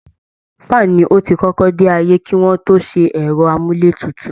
Fan ni ó ti kọ́kọ́ dé ayé kí wọ́n tó ṣe ẹ̀rọ amúlétutù